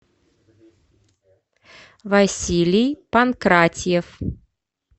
василий панкратьев